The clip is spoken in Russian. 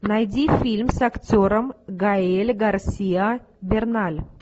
найди фильм с актером гаэль гарсиа берналь